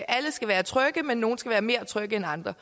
alle skal være trygge men nogle skal være mere trygge end andre